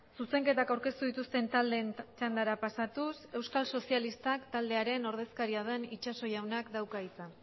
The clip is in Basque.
zuzenketak aurkeztu dituzten taldeen txandara pasatuz euskal sozialistak taldearen ordezkaria den itsaso jaunak dauka hitza